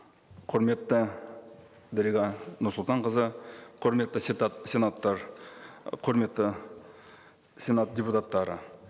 құрметті дариға нұрсұлтанқызы құрметті құрметті сенат депутаттары